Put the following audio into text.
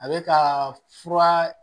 A bɛ ka fura